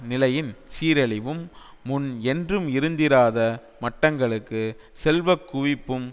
நிலையின் சீரழிவும் முன் என்றும் இருந்திராத மட்டங்களுக்கு செல்வக்குவிப்பும்